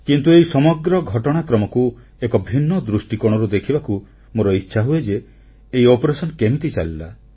କିନ୍ତୁ ଏହି ସମଗ୍ର ଘଟଣାକ୍ରମକୁ ଏକ ଭିନ୍ନ ଦୃଷ୍ଟିକୋଣରୁ ଦେଖିବାକୁ ମୋର ଇଚ୍ଛାହୁଏ ଯେ ଏହି ଅଭିଯାନ କେମିତି ଚାଲିଲା